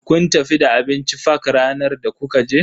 Kun tafi da abinci fak ranar da kuka je?